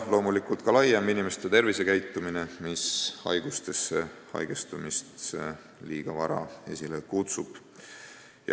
Samuti saab mõjutada inimeste laiemat tervisekäitumist, mis liiga varajast haigestumist esile kutsub.